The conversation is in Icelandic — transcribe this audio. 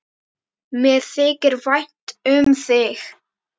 Mér þykir vænt um þig.